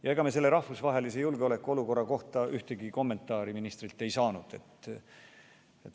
Ja ega me selle rahvusvahelise julgeolekuolukorra kohta ühtegi kommentaari ministrilt ei saanud.